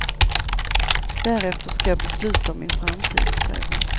Därefter ska jag besluta om min framtid, säger hon.